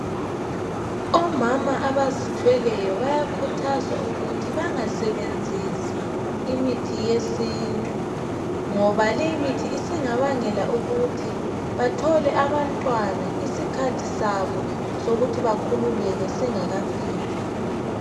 Omama abazithweleyo bayakhuthazwa ukuthi bengasebenzisi imithi yesintu ngoba leyi mithi singabangela ukuthi bethole abantwana isikhathi singakafiki